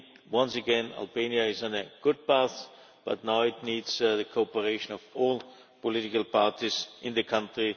Once again, I think Albania is on a good path, but now it needs the cooperation of all political parties in the country.